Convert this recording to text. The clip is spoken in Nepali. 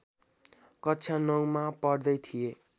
कक्षा नौमा पढ्दै थिए